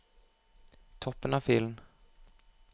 Toppen av filen